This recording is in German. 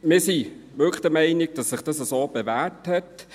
Wir sind wirklich der Meinung, dass es sich so bewährt hat.